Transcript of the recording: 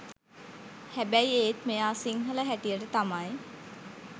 හැබැයි එත් මෙයා සිංහල හැටියට තමයි